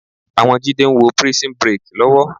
Àwọn Jídé ń wo Prison Break lọ́wọ́